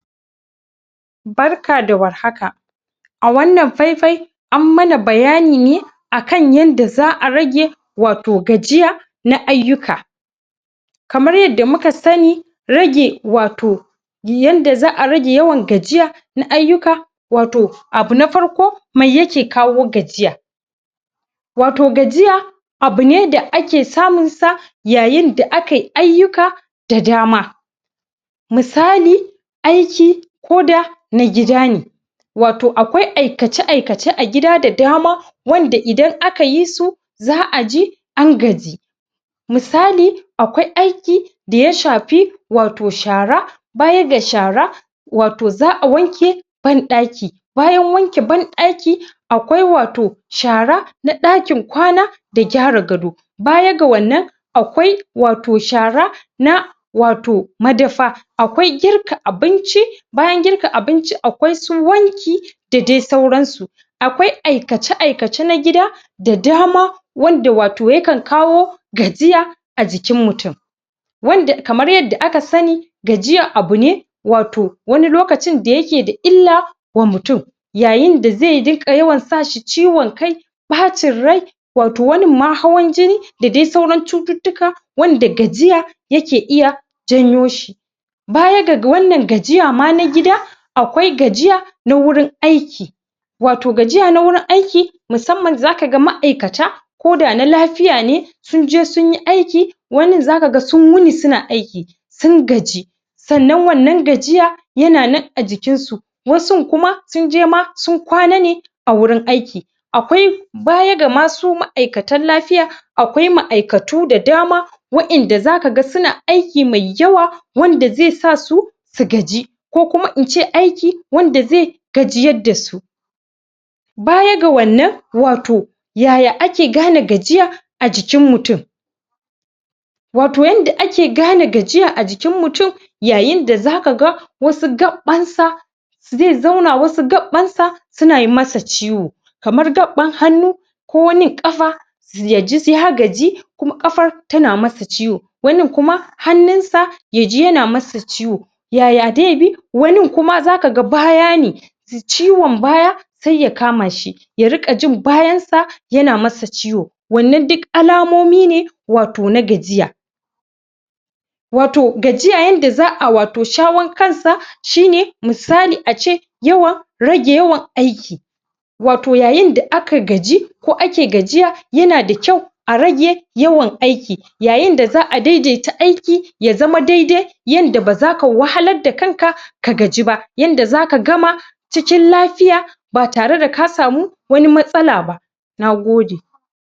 Barka da War haka, a wannan faifai, an mana bayani ne akan yanda za'a rage wato gajiya na ayyuka. Kaman yadda muka sani, rage wato yanda za'a rage yawan gajiya na ayyuka wato abu na farko me yake kawo gajiya? wato gajiya, abu ne da ake samun sa yayin da akayi ayyuka. da dama misali aiki, koh da na gida ne wato akwai aikace aikace a gida da dama wanda idan aka yi su za'a ji an gaji misali akwai aiki daya shafi wato shara baya ga shara, wato za'a wanke ban ɗaki bayan wanke ban ɗaki akwai wato shara na ɗakin kwana da gyara gado baya ga wannan, akwai wato shara na wato madsfa akwai girka abinci bayan girka abinci akwai su wanki da dai sauran su Akwai aikace aikace na gida da dama wanda wato yakan kawo gajiya ajikin mutun wanda kamar yanda aka sani gajiya abune wato wani lokacin da yake da illa wa mutun yayin da zai rinƙa sashi yawan ciwon kai, ɓacin rai wato wanin ma hawan jini da dai sauran cututtuka wanda gajiya yake iya janyo shi. Baya ga ga wannan gajiya ma na gida akwai gajiya na wurin aiki, wato gajiya na wurin aiki musamman zaka ga ma'aikata koda na lafiya ne sun je sun yi aiki wanin zaka ga sun wuni suna aiki, sun gaji sannan wannan gajiya yana nan ajikin su wasun kuma, sun je ma sun kwana ne a wurin aiki.. Akwai baya ga ma su ma'aikatan lafiya akwai ma'aikatu da dama wayan da zaka ga suna aiki mai yawa wanda zai sasu su gaji ko kuma ince aiki wadan zai gajiyar da su. baya ga wannan wato yaya ake gane gajiya a jikin mutun wato yanda ake gane gajiya a jikin mutun yayin da zaka ga wasu gaɓɓan sa, zai zauna wasu gaɓɓan sa suna yi masa ciwo kamar gaɓɓan hannu ko wanin ƙafa? yaji ya gaji kuma kafar tana masa ciwo wanin kuma hannun sa,, yana masa ciwo yaya dai bi, wanin kuma baya ne? ciwon baya sai ya kama shi ya riƙa jin bayan sa yana masa ciwo wannan duk alamomi ne wato na gajiya. Wato gajiya yanda za'a wato shawon kansa shine misali ace yawan rage yawan aiki, wato yayin da aka gaji ko ake gajiya yana da kyau a rage yawan aiki yayin da za'a daidai ta ya zama daidai yanda ba zaka wahalan da kanka ka gaji ba yanda zaka gama cikin lafiya batare da kasamu matsala ba. na gode.